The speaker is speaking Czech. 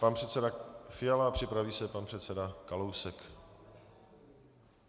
Pan předseda Fiala a připraví se pan předseda Kalousek.